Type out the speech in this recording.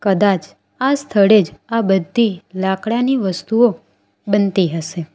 કદાચ આ સ્થળે જ આ બધી લાકડાની વસ્તુઓ બનતી હસે.